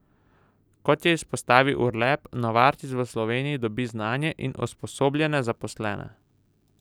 Kot je izpostavil Urlep, Novartis v Sloveniji dobi znanje in usposobljene zaposlene.